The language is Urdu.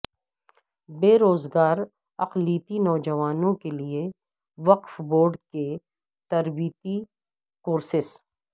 بیروزگار اقلیتی نوجوانوں کے لیے وقف بورڈ کے تربیتی کورسیس